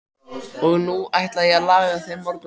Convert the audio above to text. Og nú ætla ég að laga þér morgunverð.